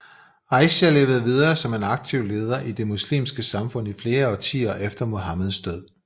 Aisha levede videre som en aktiv leder i det muslimske samfund i flere årtier efter Muhammeds død